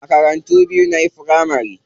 Makarantu biyu nayi firamari.